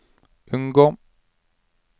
unngå